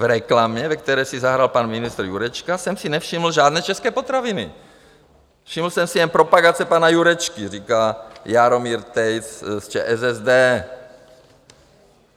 V reklamě, ve které si zahrál pan ministr Jurečka, jsem si nevšiml žádné české potraviny, všiml jsem si jen propagace pana Jurečky, říká Jaromír Tejc z ČSSD.